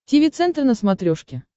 тиви центр на смотрешке